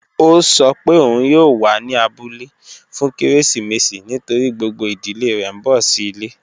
Ọ̀ sọ́ pé ọun yóò wà ní àbúlẹ̀ fún kérésìmésì nítorí gbogbo ìdílẹ̀ rẹ̀ n bọ̀ sí ilẹ̀.